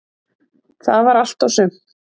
Það var allt og sumt